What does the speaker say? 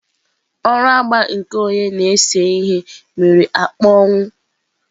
Ọrụ agba nke onye na-ese ihe mere akpọnwụwo.